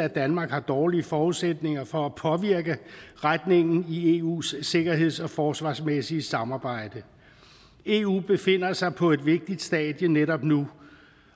at danmark har dårlige forudsætninger for at påvirke retningen i eus sikkerheds og forsvarsmæssige samarbejde eu befinder sig på et vigtigt stadie netop nu